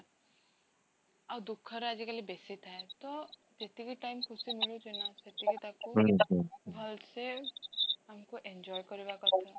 ଆଉ ଦୁଃଖର ଆଜି କାଲି ବେଶୀ ଥାଏ, ତ ଯେତିକି time ଖୁସି ମିଳୁଛି ନା, ସେତିକି ତାକୁ ଭଲସେ ଆମକୁ enjoy କରିବା କଥା